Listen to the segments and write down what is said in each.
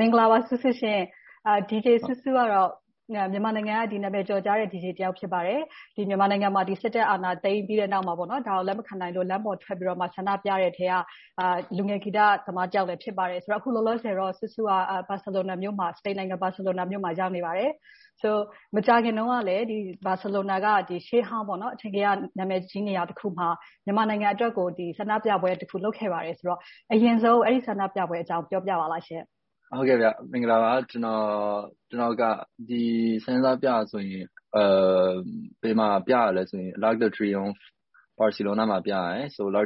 မင်္ဂလာပါ Su_Su ရှင်။ DJ Su_Su ကတော့ မြန်မာနိုင်ငံက ကျော်ကြားတဲ့ DJ တစ်ယောက် ဖြစ်ပါတယ်။ မြန်မာနိုင်ငံမှာ စစ်တပ်အာဏာသိမ်းပြီးတဲ့နောက်မှာ အာဏာသိမ်းတာကို လက်မခံလို့၊ လမ်းပေါ်ထွက်ပြီးတော့ ဆန္ဒပြတဲ့လူတွေထဲက လူငယ်ဂီတအနုပညာရှင်တစ်ယောက်လည်း ဖြစ်ပါတယ်။ အခုလောလောဆယ်တော့ Su_Su က စပိန်နိုင်ငံ၊ ဘာစီလိုနာမြို့မှာ ရောက်နေပါတယ်။ မကြာသေးခင်ကလဲ ဘာစီလိုနာမြို့က ရှေ့ဟောင်းအထင်ကရ နာမည်ကြီးနေရာတစ်ခုမှာ မြန်မာနိုင်ငံအတွက်ကို ဆန္ဒပြပွဲတစ်ခု လုပ်ခဲ့ပါတယ်။ အရင်ဆုံး အဲဒီဆန္ဒပြပွဲအကြောင်း ပြောပြပါလားရှင့်။ မင်္ဂလာပါ။ ကျနော်က ဆန္ဒပြတာက --- ဘာစီလိုနာရဲ့ မြို့လယ်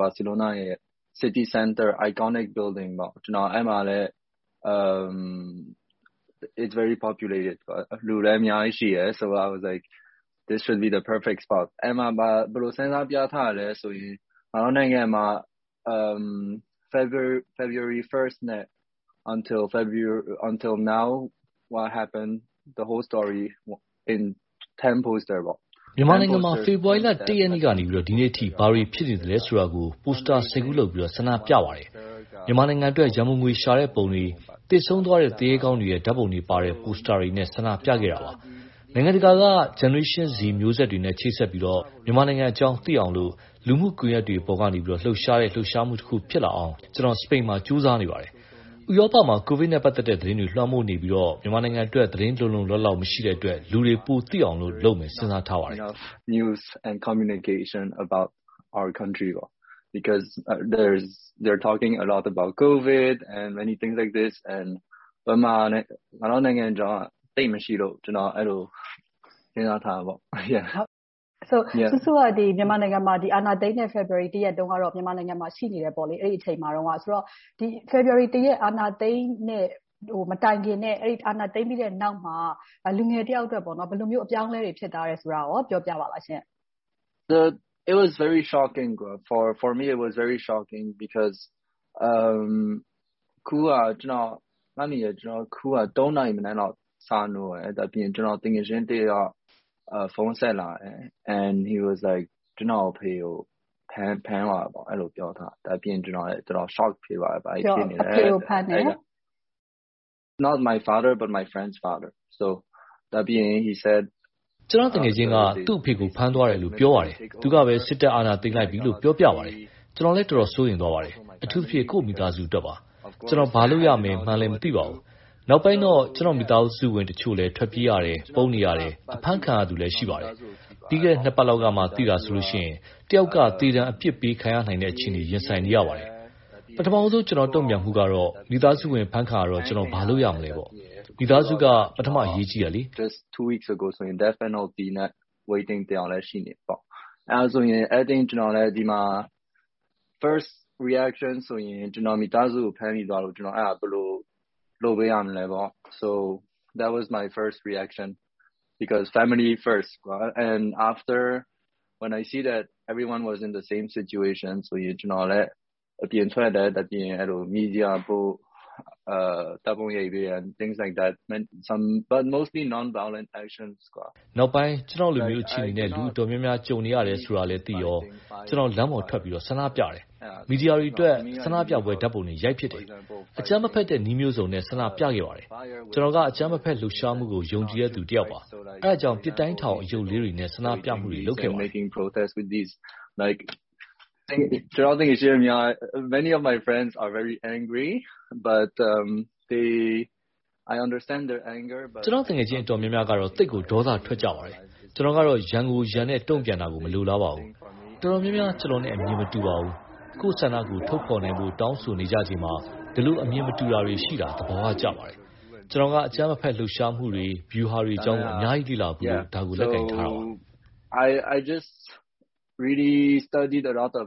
မှာရှိတဲ့ အထင်ကရနေရာ ဖြစ်ပါတယ်။ အဲဒီနေရာက လူတွေလည်း အများကြီးရှိတယ်။ ဆန္ဒပြဖို့အတွက် အကောင်းဆုံးနေရာ ဖြစ်တယ်။ အဲဒီမှာ ဘယ်လိုဆန္ဒပြသလဲဆိုရင် ငါတို့နိုင်ငံမှာ ဖေဖေါ်ဝါရီလ ရက်နေ့ကနေ ဒီနေ့အထိ ဘာတွေဖြစ်နေသလဲဆိုတာကို ပိုစတာ ခု လုပ်ပြီးတော့ ဆန္ဒပြပါတယ်။ မြန်မာနိုင်ငံအတွက် ရန်ပုံငွေ ရှာတဲ့ပုံတွေ၊ သေဆုံးသွားတဲ့ သူရဲကောင်းတွေ ဓါတ်ပုံတွေပါတဲ့ ပိုစတာတွေနဲ့ ဆန္ဒပြခဲ့တာပါ။ နိုင်ငံတကာက Generation Z မျိုးဆက်တွေနဲ့ ချိတ်ဆက်ပြီးတော့ မြန်မာနိုင်ငံအကြောင်း သိရအောင်လို့ လူမှုကွန်ရက်တွေပေါ်ကနေ လှုပ်ရှားတဲ့၊ လှုပ်ရှားမှုတစ်ခု ဖြစ်လာအောင် ကျနော် စပိန်မှာ ကြိုးစားနေပါတယ်။ ဥရောပမှာ ကိုဗစ်နဲ့ ပတ်သက်တဲ့ သတင်းတွေ လွှမ်းမိုးနေပြီးတော့၊ မြန်မာနိုင်ငံအတွက် သတင်းလုံလုံလောက်လောက် မရှိတဲ့အတွက် လူတွေပိုသိအောင်လို့ လုပ်ဆောင်မယ်လို့ စဉ်းစားထားပါတယ်။ Su_Su က မြန်မာနိုင်ငံမှာ အာဏာသိမ်းတဲ့ ဖေဖေါ်ဝါရီလ ရက်တုန်းကတော့ မြန်မာပြည်မှာ ရှိနေတယ်ပေါ့။ ဖေဖေါ်ဝါရီလ ရက်နေ့ အာဏာသိမ်း မတိုင်ခင်နဲ့ အာဏာသိမ်းပြီးနောက်မှာ လူငယ်တစ်ယောက်အတွက် ဘယ်လိုမျိုး အပြောင်းအလဲတွေ ဖြစ်သွားတယ်ဆိုတာကို ပြောပြပေးပါရှင့်။ တော်တော်လေး အံ့သြထိတ်လန့်ဖို့ ကောင်းပါတယ်။ မနက် နာရီလောက် နိုးတယ်။ သူငယ်ချင်းတစ်ယောက်က ဖုန်းဆက်လာပြီး စစ်တပ်အာဏာသိမ်းသွားပြီ ပြောပါတယ်။ သူငယ်ချင်းက သူ့အဖေကို ဖမ်းသွားတယ်လို့ ပြောတယ်။ တော်တော်လေး ထိတ်လန့်သွားတယ်။ အထူးသဖြင့် ကိုယ့်မိသားစုအတွက်ပါ။ ကျနော် ဘာလုပ်ရမယ်မှန်းလဲ မသိပါဘူး။ နောက်ပိုင်းတော့ ကျနော့်မိသားစုဝင်တချို့လဲ ထွက်ပြေးရတယ်။ ပုန်းနေရတယ်။ အဖမ်းခံရသူတချို့လဲ ရှိပါတယ်။ ပြီးခဲ့တဲ့ နှစ်ပတ်လောက်ကမှ သိတာဆိုရင် တစ်ယောက်က သေဒဏ်အပြစ်ပေးခံရမယ့် အခြေအနေကို ရင်ဆိုင်နေရပါတယ်။ ပထမဦးဆုံး ကျနော့်တုံ့ပြန်မှုကတော့ မိသားစုဝင် အဖမ်းခံရတော့ ကျနော် ဘာလုပ်ရမလဲပေါ့။ မိသားစုက အရေးကြီးတယ်လေ။ နောက်ပိုင်း ကျနော်လို အခြေအနေနဲ့ လူတော်တော်များများ တွေ့ကြုံနေရတယ်ဆိုတော့ ကျနော်လည်း လမ်းပေါ်တက် ဆန္ဒပြတယ်။ မီဒီယာတွေအတွက် ဆန္ဒပြပွဲ ဓါတ်ပုံတွေ ရိုက်ဖြစ်တယ်။ အကြမ်းမဖက်တဲ့နည်းမျိုးစုံနဲ့ ဆန္ဒပြခဲ့ပါတယ်။ ကျနော်က အကြမ်းမဖက် လှုပ်ရှားမှုကို ယုံကြည်တဲ့လူတစ်ယောက်ပါ။ အဲဒါကြောင့် ပစ်တိုင်းထောင် အရုပ်ကလေးတွေနဲ့ ဆန္ဒပြမှုတွေ လုပ်ခဲ့ပါတယ်။ ကျနော့်သူငယ်ချင်း တော်တော်များများကတော့ သိပ်ကိုဒေါသထွက်ကြပါတယ်။ ကျနော်ကတော့ ရန်ကိုရန်နဲ့ တုံ့ပြန်တာကို မလိုလားပါဘူး။ တော်တော်များများ ကျနော်နဲ့ အမြင်မတူပါဘူး။ ကိုယ့်ဆန္ဒကို ထုတ်ဖော်တောင်းဆိုနေချိန်မှာ ဒီလိုအမြင်မတူတာတွေ ရှိနေတာ သဘာဝကျပါတယ်။ ကျနော်က အကြမ်းမဖက် လှုပ်ရှားမှုတွေ၊ ဗျူဟာတွေအကြောင်းကို အများကြီးလေ့လာဖူးလို့ ဒါကိုလက်ကိုင်ထားတာပါ။ အာဏာသိမ်းပြီးန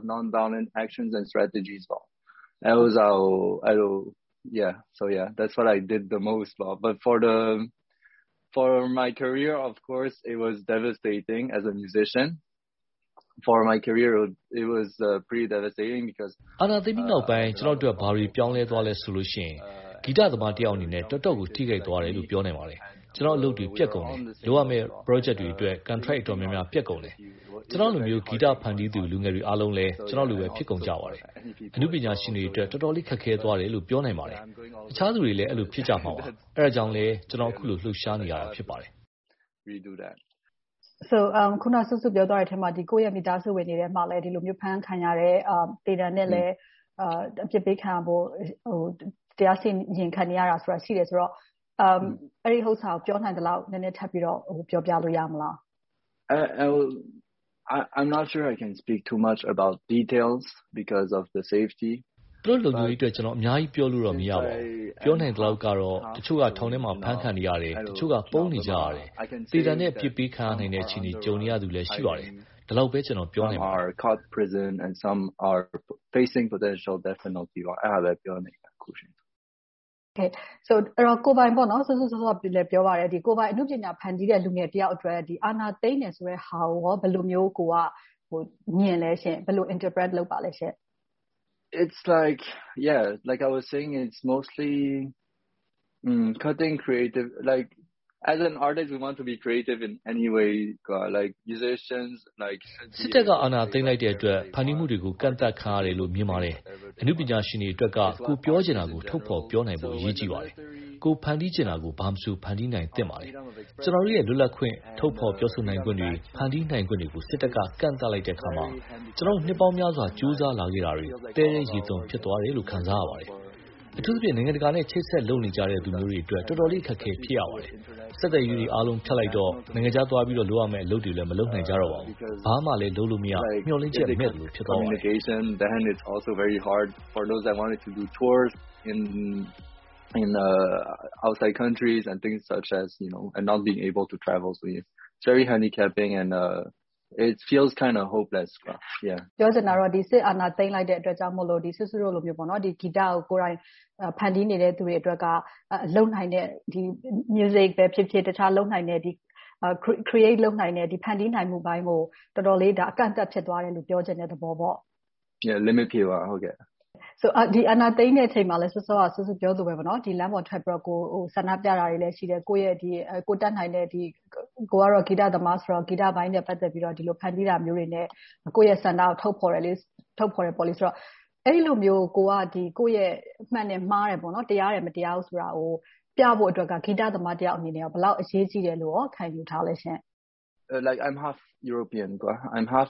ောက်ပိုင်း ကျနော့်အတွက် ဘာတွေပြောင်းလဲသွားသလဲ ဆိုလို့ရှိရင် ဂီတသမားတစ်ယောက်အနေနဲ့ တော်တော့ကို ထိခိုက်သွားတယ်လို့ ပြောနိုင်ပါတယ်။ ကျနော့်အလုပ်တွေ ပျက်ကုန်တယ်။ လုပ်ရမယ့် Project တွေအတွက် Contract တော်တော်များများ ပျက်ကုန်တယ်။ ကျနော်လိုမျိုး ဂီတဖန်တီးသူ လူငယ်တွေအားလုံးလဲ ကျနော်လိုပဲ ဖြစ်ကုန်ကြပါတယ်။ အနုပညာရှင်တွေအတွက် တော်တော်လေး ခက်ခဲသွားတယ်လို့ ပြောနိုင်ပါတယ်။ အခြားလူတွေလဲ အဲဒီလို ဖြစ်ကြမှာပါ။ အဲဒါကြောင့်လဲ ကျနော် အခုလို လှုပ်ရှားနေရတာ ဖြစ်ပါတယ်။ အခုန Su_Su ပြောသွားတဲ့အထဲမှာ ကိုယ့်ရဲ့မိသားစုဝင်တွေလဲ အဖမ်းခံရတယ်။ သေဒဏ်လဲ အပြစ်ပေးခံရဖို့ တရားစီရင်ခံနေရတာ ရှိနေတယ်ဆိုတော့ အဲဒါကို ပြောနိုင်သလောက် နည်းနည်းထပ်ပြောလို့ ရပါသလား။ သူတို့လုံခြုံရေးအတွက် ကျနော် အများကြီးပြောလို့ မရပါဘူး။ ပြောနိုင်သလောက်ကတော့ တချို့က ထောင်ထဲမှာ အဖမ်းခံနေရတယ်။ တချို့က ပုန်းနေကြတယ်။ သေဒဏ်နဲ့ အပြစ်ပေးခံနေရမယ့် အခြေအနေ ကြုံနေရသူလဲ ရှိပါတယ်။ ဒီလောက်ပဲ ကျနော် ပြောနိုင်ပါတယ်။ Su_Su စောစောကလည်း ပြောသွားပါတယ်။ ကိုယ်ပိုင် အနုပညာဖန်တီးနေတဲ့ လူငယ်တစ်ယောက်အနေနဲ့ အာဏာသိမ်းတယ်ဆိုတဲ့ဟာကို ကိုယ်က မြင်ပါသလဲရှင့်။ အဓိပ္ပါယ်ဖွင့်ဆိုပါသလဲရှင့်။ စစ်တပ်က အာဏာသိမ်းလိုက်တဲ့အတွက် ဖန်တီးမှုတွေကို ကန့်သတ်ခံရတယ်လို့ မြင်ပါတယ်။ အနုပညာရှင်တွေအတွက်က ကိုယ်ပြောချင်တာကို ထုတ်ဖော်ပြောနိုင်ဖို့က အရေးကြီးပါတယ်။ ကိုယ်ဖန်တီးချင်တာကို ဘာမဆို ဖန်တီးနိုင်သင့်ပါတယ်။ ကျနော်တို့ရဲ့ လွတ်လပ်ခွင့်၊ ထုတ်ဖော်ခွင့်တွေ၊ ဖန်တီးနိုင်ခွင့်တွေကို စစ်တပ်က ကန့်သတ်လိုက်တဲ့အခါမှာ ကျနော်တို့ နှစ်ပေါင်းများစွာ ကြိုးစားလာခဲ့တာတွေ သဲထဲရေသွန်း ဖြစ်သွားတယ်လို့ ခံစားရပါတယ်။ အထူးသဖြင့် နိုင်ငံတကာနဲ့ ချိတ်ဆက်လုပ်နေကြတဲ့ လူမျိုးတွေအတွက် တော်တော်လေး ခက်ခဲရပါတယ်။ ဆက်သွယ်ရေးတွေ ဖြတ်လိုက်တော့ နိုင်ငံခြားသွားပြီးတော့ လုပ်ရမယ့်အလုပ်တွေလဲ မလုပ်နိုင်ကြတော့ပါဘူး။ ဘာမှ လုပ်လို့မရ၊ မျှော်လင့်ချက်တွေ မဲ့သလို ဖြစ်သွားပါတယ်။ ပြောချင်တာက စစ်အာဏာသိမ်းလိုက်တဲ့အတွက်ကြောင့် Su_Su တို့လို ဂီတကို ကိုယ်တိုင်ဖန်တီးနေတဲ့လူတွေအတွက်က လုပ်နိုင်တဲ့ ဂီတပဲဖြစ်ဖြစ်၊ လုပ်နိုင်တဲ့ ဖန်တီးနိုင်မှုပိုင်းကို တော်တော်လေး အကန့်အသတ် ဖြစ်သွားတယ်လို့ ပြောချင်တာလား။ Limited ကန့်သတ်မှုတွေ ရှိလာပါတယ်။ အာဏာသိမ်းချိန်မှာလဲ စောစောက Su_Su ပြောသလိုပါပဲ လမ်းပေါ်ထွက်ပြီးတော့ ဆန္ဒပြတာတွေလည်း ရှိတယ်။ ကိုယ်တတ်နိုင်တဲ့ ကိုယ်က ဂီတသမားဆိုတော့ ဂီတပိုင်းနဲ့ ပတ်သက်ပြီး ဖန်တီးတာမျိုးတွေနဲ့ ကိုယ့်ရဲ့ဆန္ဒကို ထုတ်ဖော်နေတယ်ဆိုတော့ အဲဒီလိုမျိုး ကိုယ့်ရဲ့မှန်တယ်၊ မှားတယ်၊ တရားတယ်၊ မတရားဘူးဆိုတာကို ပြဖို့အတွက်က ဂီတသမားတစ်ယောက်အနေနဲ့ ဘယ်လောက်အရေးကြီးတယ်လို့ ခံယူထားလဲရှင့်။ ကျနော်က ဥရောပသွေး တဝက်ပါပါတယ်။ ဒါကြောင့်မို့ ယဉ်ကျေးမှု နှစ်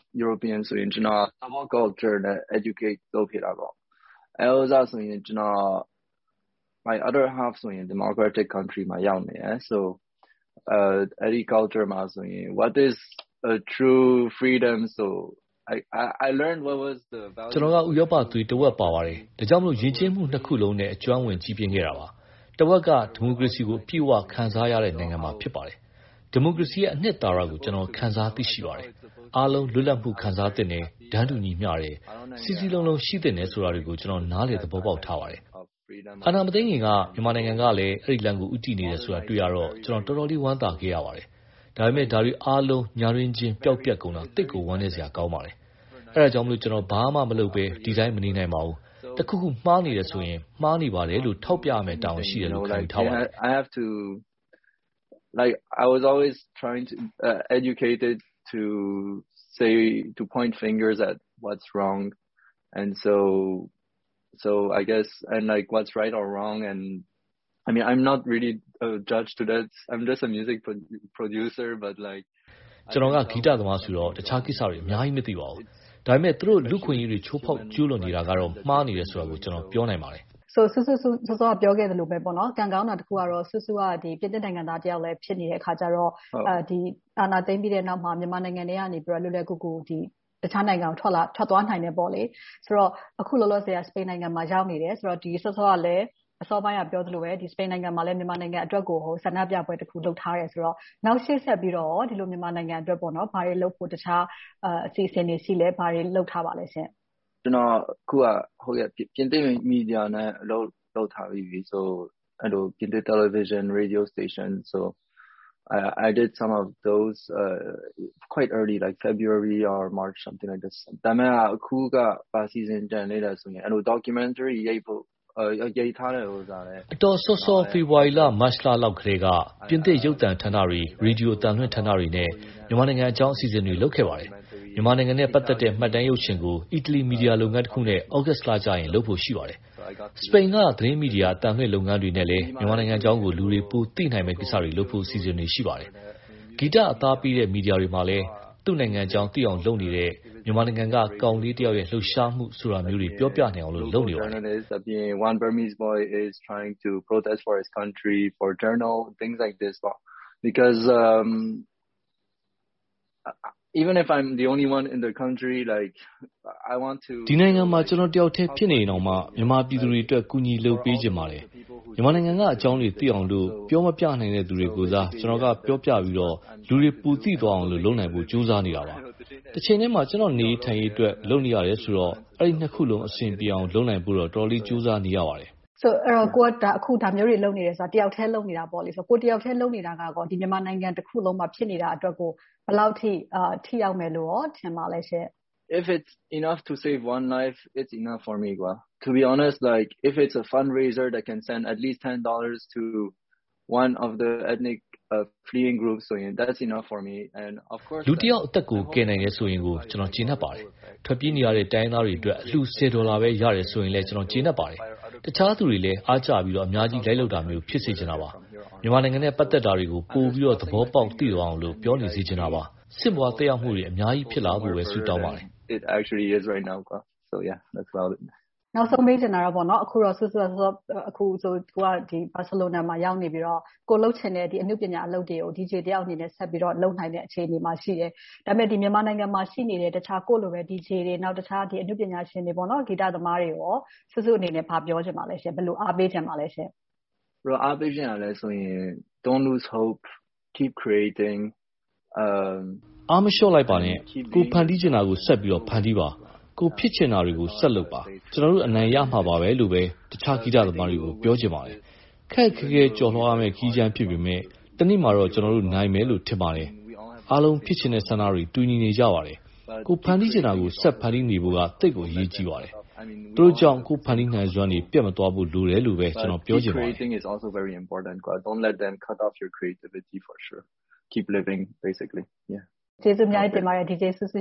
ခုစလုံးနဲ့ ကျွမ်းဝင်ကြီးပြင်းခဲ့တာပါ။ တဝက်က ဒီမိုကရေစီကို အပြည့်အဝ ခံစားရတဲ့ နိုင်ငံမှာ ဖြစ်ပါတယ်။ ဒီမိုကရေစီရဲ့ အနှစ်သာရကို ခံစားသိရှိပါတယ်။ အားလုံးလွတ်လပ်မှု ခံစားသင့်တယ်။ တန်းတူညီမျှတယ်။ စည်းစည်းလုံးလုံး ရှိသင့်တယ်ဆိုတာတွေကို ကျနော် နားလည်သဘောပေါက်ထားပါတယ်။ အာဏာမသိမ်းခင်က မြန်မာနိုင်ငံကလဲ အဲဒီလမ်းကို ဦးတည်နေတယ်ဆိုတာကို တွေ့ရတော့ ကျနော် တော်တော်လေး ဝမ်းသာခဲ့ရပါတယ်။ ဒါပေမဲ့ ဒါတွေအားလုံ ညတွင်းချင်း ပျောက်ပျက်ကုန်တာ သိပ်ကိုဝမ်းနည်းစရာ ကောင်းပါတယ်။ အဲဒါကြောင့် ကျနော် ဘာမှမလုပ်ဘဲ ဒီအတိုင်း မနေနိုင်ပါဘူး။ တစ်ခုခု မှားနေတယ်ဆိုရင် မှားနေတယ်လို့ ထောက်ပြရမယ့်တာဝန် ရှိတယ်လို့ ခံယူထားပါတယ်။ ကျနော်က ဂီတသမားဆိုတော့ အခြားကိစ္စတွေ အများကြီး မသိပါဘူး။ ဒါပေမဲ့ သူတို့ လူ့အခွင့်အရေးတွေ ချိုးဖောက်ကျူးလွန်နေတာကတော့ မှားနေတယ်ဆိုတာကတော့ ကျနော် ပြောနိုင်ပါတယ်။ Su_Su အခုန ပြောခဲ့သလိုပဲ ကံကောင်းတာတစ်ခုကတော့ Su_Su က ပြင်သစ်နိုင်ငံသားတစ်ယောက်လဲ ဖြစ်နေတဲ့အခါကြတော့ အာဏာသိမ်းပြီးတဲ့နောက်မှာ မြန်မာနိုင်ငံထဲကနေ လွယ်လွယ်ကူကူ တခြားနိုင်ငံတွေကို ထွက်သွားနိုင်တယ်ပေါ့။ ဆိုတော့ အခုလောလောဆယ် စပိန်နိုင်ငံကို ရောက်နေတယ်။ စောစောကလဲ ပြောသလိုပဲ စပိန်နိုင်ငံမှာ မြန်မာနိုင်ငံအတွက်ကို ဆန္ဒပြပွဲတစ်ခု လုပ်ထားတယ်ဆိုတော့ နောက်ရှေ့ဆက်ပြီးတော့ မြန်မာနိုင်ငံအတွက် ဘာတွေလုပ်ဖို့၊ အခြားအစီအစဉ်တွေ ရှိသလဲ။ ဘာတွေလုပ်ထားပါလဲရှင့်။ ပြင်သစ်မီဒီယာနဲ့ အလုပ်လုပ်ထားပြီးပြီ။ ပြင်သစ် တယ်လီဗေရှင်း၊ ရေဒီယိုတို့နဲ့ လုပ်ထားပါတယ်။ အတော်စောစော ဖေဖေါ်ဝါရီလ၊ မတ်လကတည်းက ပြင်သစ်ရုပ်သံဌာနတွေ၊ ရေဒီယိုအသံလွှင့်ဌာနတွေနဲ့ မြန်မာနိုင်ငံအကြောင်း အစီအစဉ်တွေကို လုပ်ခဲ့ပါတယ်။ မြန်မာနိုင်ငံနဲ့ ပတ်သက်တဲ့ မှတ်တမ်းရုပ်ရှင်ကို အီတလီ မီဒီယာလုပ်ငန်းတစ်ခုနဲ့ သြဂုတ်လကျရင် လုပ်ဖို့ရှိပါတယ်။ စပိန်က သတင်းမီဒီယာ၊ အသံလွှင့်လုပ်ငန်းတွေနဲ့လဲ မြန်မာနိုင်ငံအကြောင်းကို လူတွေပိုသိနိုင်ဖို့ ကိစ္စတွေလုပ်ဖို့ အစီအစဉ်တွေ ရှိပါတယ်။ ဂီတအသားပေးတဲ့ မီဒီယာတွေမှာလဲ သူ့နိုင်ငံအကြောင်းသိအောင် လုပ်နေတဲ့ မြန်မာနိုင်ငံက ကောင်လေးတစ်ယောက်ရဲ့ လှုပ်ရှားမှုဆိုတာမျိုးတွေ ပြောပြနိုင်ဖို့ လုပ်နေပါတယ်။ ဒီနိုင်ငံမှာ ကျနော်တစ်ယောက်ထဲ ဖြစ်နေရင်တောင်မှ မြန်မာပြည်သူတွေအတွက် ကူညီလုပ်ပေးချင်ပါတယ်။ မြန်မာနိုင်ငံက အကြောင်းတွေ သိအောင်လို့ ပြောမပြနိုင်တဲ့ လူတွေကိုယ်စား၊ ကျနော်က ပြောပြပြီးတော့ လူတွေပိုသိသွားအောင်လို့ လုပ်နိုင်ဖို့ ကြိုးစားနေတာပါ။ တချိန်တည်းမှာ ကျနော့်နေရေးထိုင်ရေးအတွက် လုပ်နေရတယ်ဆိုတော့ အဲဒီနှစ်ခုစလုံး အဆင်ပြေအောင် လုပ်နိုင်ဖို့တော့ အတော်လေး ကြိုးစားနေရပါတယ်။ အခု ကိုယ်က ဒါမျိုးတွေ လုပ်နေတယ်ဆိုတော့ တစ်ယောက်ထဲ လုပ်နေတာပေါ့။ ကိုယ်တစ်ယောက်ထဲ လုပ်နေတာက မြန်မာနိုင်ငံတစ်ခုလုံးမှာ ဖြစ်နေတာတွေကို ဘယ်လောက်အထိ ထိရောက်မယ်လို့ ထင်ပါလဲရှင့်။ လူတစ်ယောက်အသက်ကို ကယ်နိုင်တယ်ဆိုရင်တောင် ကျနော် ကျေနပ်ပါတယ်။ ထွက်ပြေးနေရတဲ့ တိုင်းရင်းသားတွေအတွက် အလှူဆယ်ဒေါ်လာပဲ ရတယ်ဆိုရင်လဲ ကျနော် ကျေနပ်ပါတယ်။ အခြားလူတွေလည်း အားကျပြီးတော့ အများကြီးလိုက်လုပ်တာမျိုး ဖြစ်စေချင်တာပါ။ မြန်မာနိုင်ငံနဲ့ ပတ်သက်တာတွေကို ပိုပြီးတော့ သဘောပေါက် သိသွားအောင်လို့ ပြောနေစေချင်တာပါ။ ဆင့်ပွားသက်ရောက်မှုတွေ အများကြီးဖြစ်လာဖို့ကို ဆုတောင်းပါတယ်။ နောက်ဆုံးမေးချင်တာကတော့ Su_Su က အခုဆိုရင် ဘာစီလိုနာမှာ ရောက်နေတယ်ဆိုတော့ ကိုယ်လုပ်ချင်တဲ့ အနုပညာအလုပ်တွေကို DJ တစ်ယောက်အနေနဲ့ ဆက်လုပ်နိုင်တဲ့ အခြေအနေမှာ ရှိတယ်။ ဒါပေမဲ့ မြန်မာနိုင်ငံမှာ ရှိနေတဲ့ တခြားကိုယ့်လိုပဲ DJ တွေ၊ အခြားအနုပညာရှင်တွေ၊ ဂီတသမားတွေကို Su_Su အနေနဲ့ ဘာပြောချင်ပါလဲရှင့်။ ဘယ်လိုအားပေးချင်ပါလဲရှင့်။ အားမလျှော့လိုက်ပါနဲ့။ ကိုယ်ဖန်တီးချင်တာကို ဆက်ပြီးတော့ ဖန်တီးပါ။ ကိုယ်ဖြစ်ချင်တာတွေကို ဆက်လုပ်ပါ။ ကျနော်တို့ အနိုင်ရမှာပါလို့ပဲ တခြားဂီတသမားတွေကို ပြောချင်ပါတယ်။ ခက်ခက်ခဲခဲ ကျော်လွှာသွားရမယ့် ခရီးကြမ်း ဖြစ်ပေမယ့်၊ တစ်နေ့မှာတော့ ကျနော်တို့ နိုင်မယ်လို့ ထင်ပါတယ်။ အားလုံးဖြစ်ချင်တဲ့ ဆန္ဒတွေ တူညီကြပါတယ်။ ကိုယ်ဖန်တီးချင်တာကို ဆက်ဖန်တီးနေဖို့က သိပ်ကိုအရေးကြီးပါတယ်။ သူတို့ကြောင့် ကိုယ့်ဖန်တီးနိုင်စွမ်းတွေ ပျက်မသွားဖို့ လိုတယ်လို့ပဲ ကျနော် ပြောချင်ပါတယ်။ ကျေးဇူးအများကြီးတင်ပါတယ် DJ Su_Su ရ